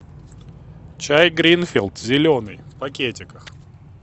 чай гринфилд зеленый в пакетиках